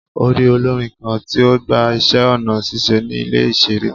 O rii olorin kan ti o gba iṣẹ ọna ṣiṣe ni ile iṣere